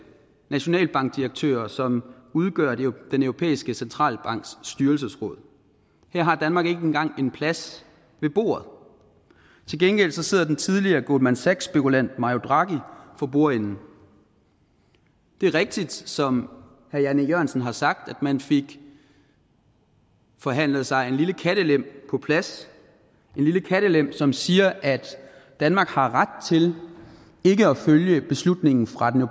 nationalbankdirektører som udgør den europæiske centralbanks styrelsesråd her har danmark ikke engang en plads ved bordet til gengæld sidder den tidligere goldman sachs spekulant mario draghi for bordenden det er rigtigt som herre jan e jørgensen har sagt at man fik forhandlet sig en lille kattelem på plads som siger at danmark har ret til ikke at følge beslutningen fra den